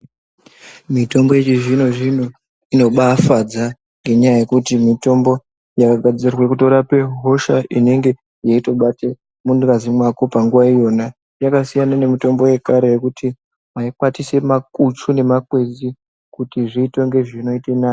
Mitombo yechizvino zvino inobafadza ngenyaya yekuti mitombo yakagadzirwa kutorape hosha inenge yeitobate mungazi mwako panguwa iyona. Yakasiyana nemitombo yekaretu yekuti maikwatisa makuchu nemakwenzi kuti zviite kunge zvinoita nani.